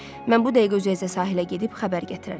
Mən bu dəqiqə üzə-üzə sahilə gedib xəbər gətirərəm.